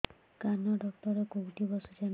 କାନ ଡକ୍ଟର କୋଉଠି ବସୁଛନ୍ତି